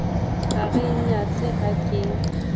a re nyatsa ha ke